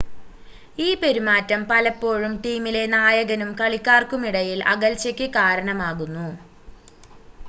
ഈ പെരുമാറ്റം പലപ്പോഴും ടീമിലെ നായകനും കളിക്കാർക്കുമിടയിൽ അകൽച്ചയ്ക്ക് കാരണമാകുന്നു